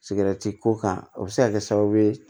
Sigɛrɛti ko kan o bɛ se ka kɛ sababu ye